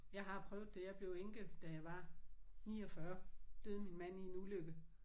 Jeg har prøvet det. Jeg blev enke da jeg var 49 døde min mand i en ulykke